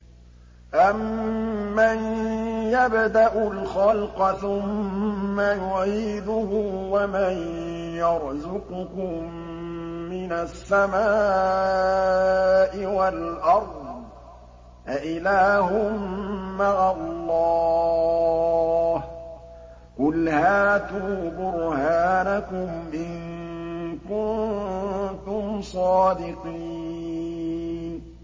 أَمَّن يَبْدَأُ الْخَلْقَ ثُمَّ يُعِيدُهُ وَمَن يَرْزُقُكُم مِّنَ السَّمَاءِ وَالْأَرْضِ ۗ أَإِلَٰهٌ مَّعَ اللَّهِ ۚ قُلْ هَاتُوا بُرْهَانَكُمْ إِن كُنتُمْ صَادِقِينَ